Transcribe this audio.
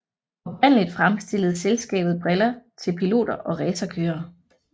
Oprindeligt fremstillede selskabet briller til piloter og racerkørere